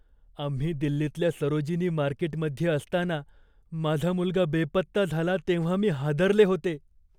आम्ही दिल्लीतल्या सरोजिनी मार्केटमध्ये असताना माझा मुलगा बेपत्ता झाला तेव्हा मी हादरले होते.